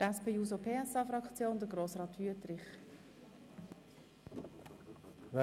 Für die SP-JUSO-PSA-Fraktion hat Grossrat Wüthrich das Wort.